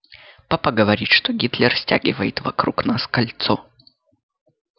папа говорит что гитлер стягивает вокруг нас кольцо